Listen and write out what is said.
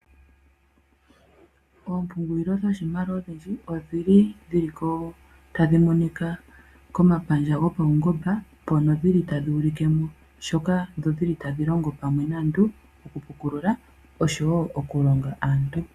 Ompungulilo dhoshimaliwa odhindji, otadhi monika komapandja gopaungomba mpono tadhi ulike mo nkene tadhi longo pamwe naantu okupukulula oshowo okulonga aantu.